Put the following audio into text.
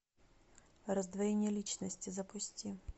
раздвоение личности запусти